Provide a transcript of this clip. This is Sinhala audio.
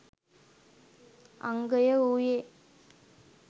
අංගය වූයේ